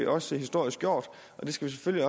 også historisk gjort og det skal vi